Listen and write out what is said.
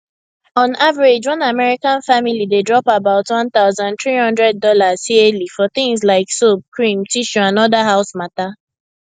on average one american family dey drop about one thousand three hundred dollars yearly for things like soap cream tissue and other house matter